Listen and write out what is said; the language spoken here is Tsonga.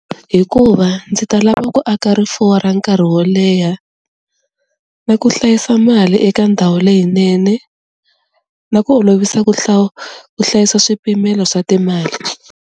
Hikuva ndzi ta lava ku aka rifuwo ra nkarhi wo leha na ku hlayisa mali eka ndhawu leyinene na ku olovisa ku ku hlayisa swipimelo swa timali.